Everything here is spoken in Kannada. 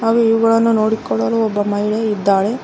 ಹಾಗೂ ಇವುಗಳನ್ನು ನೋಡಿಕೊಳ್ಳಲು ಒಬ್ಬ ಮಹಿಳೆ ಇದ್ದಾಳೆ.